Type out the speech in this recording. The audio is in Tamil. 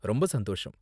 ரொம்ப சந்தோஷம்.